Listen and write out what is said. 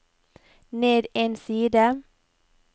ned en side